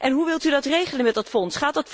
Hoe wilt u dat regelen met dat fonds?